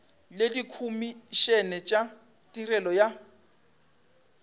le dikhomišene tša tirelo ya